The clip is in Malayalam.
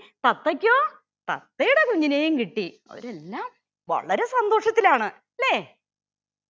തത്തയ്‌ക്കോ തത്തയുടെ കുഞ്ഞിനേയും കിട്ടി. അവരെല്ലാം വളരെ സന്തോഷത്തിലാണ് അല്ലെ.